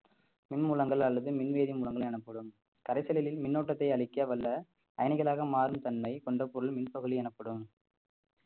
மின் மூலங்கள் அல்லது மின்வேதி மூலங்கள் எனப்படும் கரைச்சலின் மின்னோட்டத்தை அழிக்கவல்ல பயணிகளாக மாறும் தன்மை கொண்ட பொருள் மின் எனப்படும்